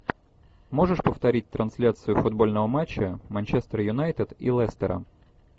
можешь повторить трансляцию футбольного матча манчестер юнайтед и лестера